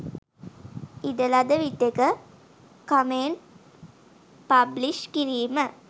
ඉඩ ලද විටෙක කමෙන්ට් පබ්ලිශ් කිරිම